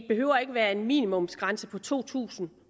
behøver være en minimumsgrænse på to tusind